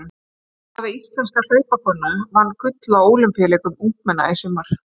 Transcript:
Hvaða íslenska hlaupakona vann gull á ólympíuleikum ungmenna í sumar?